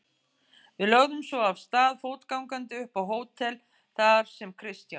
Við lögðum svo af stað fótgangandi upp á hótel þar sem Kristján